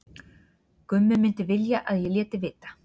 Gummi myndi vilja að ég léti vita.